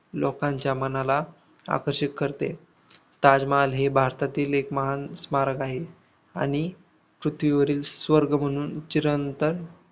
लोकांच्या मनाला आकर्षित करते ताजमहाल हे भारतातील महान स्मारक आहे. आणि पृथ्वीवरील स्वर्ग म्हणून चिरंतन